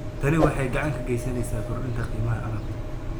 Tani waxay gacan ka geysaneysaa kordhinta qiimaha alaabta.